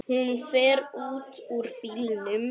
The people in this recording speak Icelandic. Hún fer út úr bílnum.